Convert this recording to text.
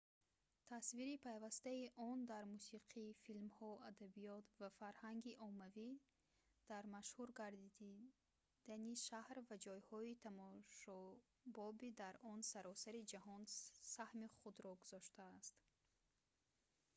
тасвири пайвастаи он дар мусиқӣ филмҳо адабиёт ва фарҳанги оммавӣ дар машҳур гардидани шаҳр ва ҷойҳои тамошобоби он дар саросари ҷаҳон саҳми худро гузоштааст